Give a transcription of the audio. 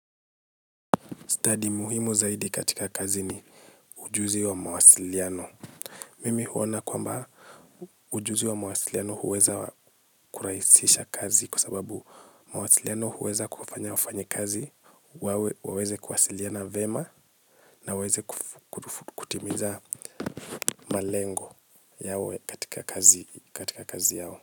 Stadi muhimu zaidi katika kazi ni ujuzi wa mawasiliano. Mimi huona kwamba ujuzi wa mawasiliano huweza kuraisisha kazi kwa sababu mawasiliano huweza kufanya wafanyakazi, waweze kuwasiliana vyema na waweze kutimiza malengo yawe katika kazi katika kazi yao.